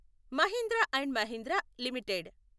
Mahindra and Mahindra limited